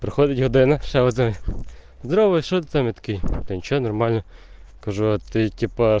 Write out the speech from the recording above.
проходите данных создаёт здравого человека метки ничего нормально как же от типа